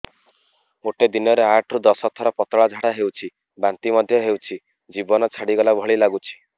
ଗୋଟେ ଦିନରେ ଆଠ ରୁ ଦଶ ଥର ପତଳା ଝାଡା ହେଉଛି ବାନ୍ତି ମଧ୍ୟ ହେଉଛି ଜୀବନ ଛାଡିଗଲା ଭଳି ଲଗୁଛି